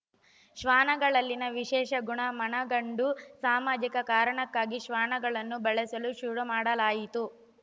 ಶ್ವಾನಗಳಲ್ಲಿನ ವಿಶೇಷ ಗುಣ ಮನಗಂಡು ಸಾಮಾಜಿಕ ಕಾರಣಕ್ಕಾಗಿ ಶ್ವಾನಗಳನ್ನು ಬಳಸಲು ಶುರುಮಾಡಲಾಯಿತು